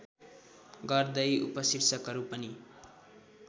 गर्दै उपशीर्षकहरू पनि